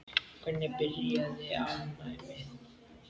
Hvernig byrjaði alnæmi?